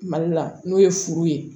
Mali la n'o ye furu ye